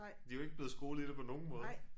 De jo ikke blevet skolet i det på nogen måde